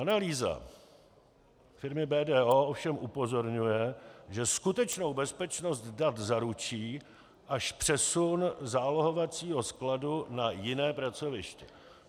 Analýza firmy BDO ovšem upozorňuje, že skutečnou bezpečnost dat zaručí až přesun zálohovacího skladu na jiné pracoviště.